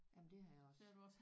Jamen det har jeg også